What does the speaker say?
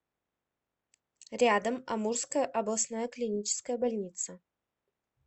рядом амурская областная клиническая больница